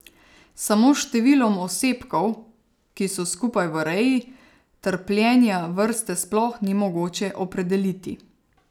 Samo s številom osebkov, ki so skupaj v reji, trpljenja vrste sploh ni mogoče opredeliti.